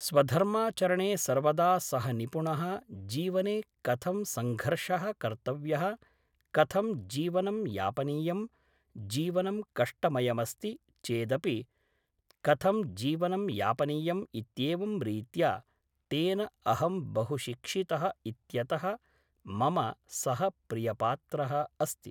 स्वधर्माचरणे सर्वदा सः निपुणः जीवने कथं संघर्षः कर्तव्यः कथं जीवनं यापनीयं जीवनं कष्टमयमस्ति चेदपि कथं जीवनं यापनीयम् इत्येवं रीत्या तेन अहं बहुशिक्षितः इत्यतः मम सः प्रियपात्रः अस्ति